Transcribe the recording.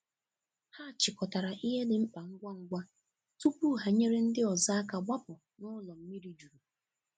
Hà chịkọtarà ihe dị mkpa ngwa ngwa tupu ha nyere ndị ọzọ aka gbapụ̀ n’ụlọ mmiri jurù.